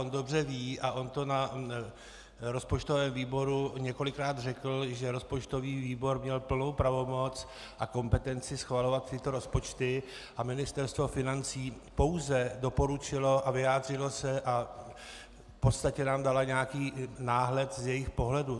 On dobře ví a on to na rozpočtovém výboru několikrát řekl, že rozpočtový výbor měl plnou pravomoc a kompetenci schvalovat tyto rozpočty a Ministerstvo financí pouze doporučilo a vyjádřilo se a v podstatě nám dalo nějaký náhled z jejich pohledu.